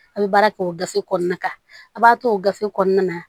A' bɛ baara kɛ o gafe kɔnɔna kan a b'a to o gafe kɔnɔna na